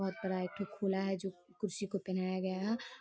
बोहुत बड़ा एक ठो है जो कुर्सी को पहनाया गया है।